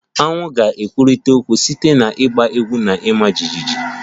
Aṅu ga-ekwurịta okwu site na ịgba egwu na ịma jijiji